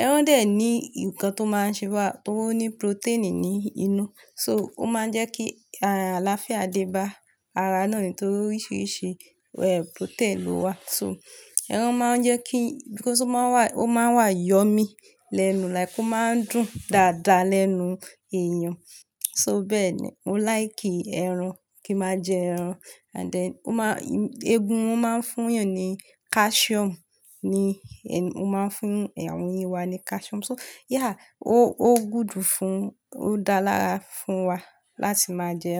Ẹran dè ní nǹkan tó máa ń ṣe wá, tó ní protein ní inú. So, ó máa ń jẹ́ kí, ààlàáfìá dé bá ara náà nítorí oríṣiríṣi, ẹ, protein ló wà. So, ẹran máa ń jẹ́ kí, because ó máa wà, ó máa wà yummy lẹ́nu, like ó máa ń dùn dáadáa lẹ́nu èèyàn. So bẹ́ẹ̀ ni, mo like ẹran, kí n máa jẹ ẹran. And then ó máa, eégún ó máa ń fún èèyàn ní calcium ni, ó máa ń fún àwọn ìwà ní calcium. So yeah, ó, ó good fún, ó dáa lára fún wa láti máa jẹ ẹran.